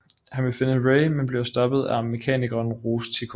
Han vil finde Rey men bliver stoppet af mekanikeren Rose Tico